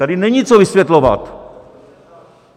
Tady není co vysvětlovat.